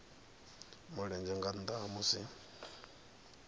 mulenzhe nga nnda ha musi